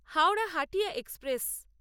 Howrah Hatia express